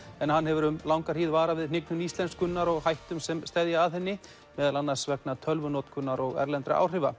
en hann hefur um langa hríð varað við hnignun íslenskunnar og hættum sem steðja að henni meðal annars vegna tölvunotkunar og erlendra áhrifa